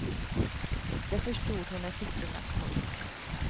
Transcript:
Det förstod hon när siffrorna kom upp.